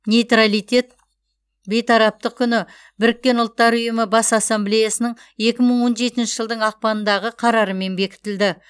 нейтралитет бейтараптық күні біріккен ұлттар ұйымы бас ассамблеясының екі мың он жетінші жылдың ақпанындағы қарарымен бекітілді